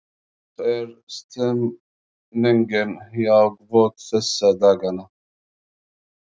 Hvernig er stemningin hjá Hvöt þessa dagana?